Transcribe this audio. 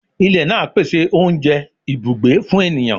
Ilẹ naa pese ounjẹ, ibugbe fun eniyan